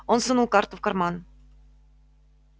он сунул карту в карман